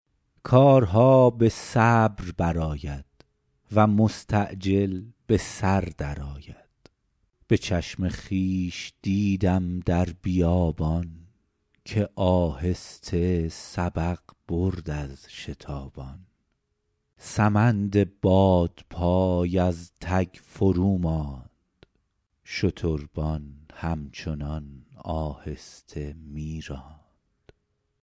کارها به صبر بر آید و مستعجل به سر در آید به چشم خویش دیدم در بیابان که آهسته سبق برد از شتابان سمند بادپای از تک فرو ماند شتربان هم چنان آهسته می راند